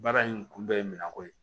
Baara in kun bɛɛ ye minan ko ye